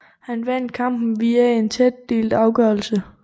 Han vandt kampen via en tæt delt afgørelse